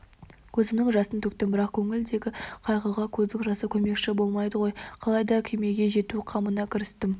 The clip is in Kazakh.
көзімнің жасын төктім бірақ көңілдегі қайғыға көздің жасы көмекші болмайды ғой қалай да кемеге жету қамына кірістім